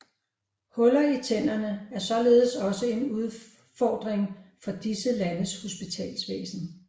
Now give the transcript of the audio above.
Huller i tænderne er således også en udfordring for disse landes hospitalsvæsen